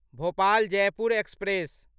Bhopal Jaipur express